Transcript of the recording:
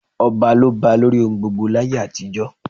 Ọba ló ba lórí ohun gbogbo láyé àtijọ́.